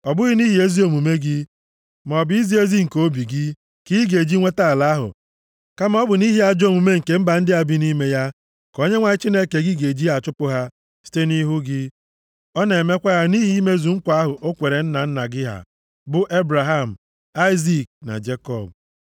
Ọ bụghị nʼihi ezi omume gị, maọbụ izi ezi nke obi gị ka ị ga-eji nweta ala ahụ, kama ọ bụ nʼihi ajọ omume nke mba ndị a bi nʼime ya ka Onyenwe anyị Chineke gị ga-eji achụpụ ha site nʼihu gị. Ọ na-emekwa ya nʼihi imezu nkwa ahụ o kwere nna nna gị ha bụ Ebraham, Aịzik, na Jekọb.